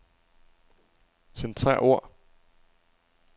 Centrer ord.